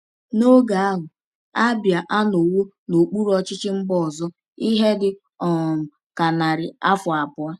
N’oge ahụ, Abia anọwo n’okpuru ọchịchị mba ọzọ ihe dị um ka narị afọ abụọ.